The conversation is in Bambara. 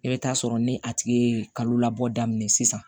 I bɛ taa sɔrɔ ni a tigi ye kalo labɔ daminɛ sisan